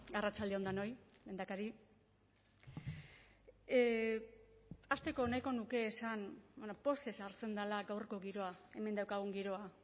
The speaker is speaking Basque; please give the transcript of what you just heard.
arratsalde on denoi lehendakari hasteko nahiko nuke esan pozez hartzen dela gaurko giroa hemen daukagun giroa